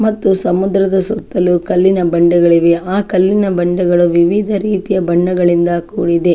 ಮತ್ತು ಸಮುದ್ರ ಸುತ್ತಲೂ ಕಲ್ಲಿನ ಬಂಡೆಗಳು ಇವೆ ಆ ಕಲ್ಲಿನ ಬಂಡೆಗಳು ವಿವಿಧ ರೀತಿಯ ಬಣ್ಣಗಳಿಂದ ಕೂಡಿದೆ --